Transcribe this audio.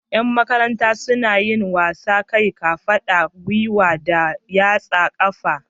Yan Makaranta suna yin waƙar kai, kafaɗa, gwiwa da yatsar ƙafa.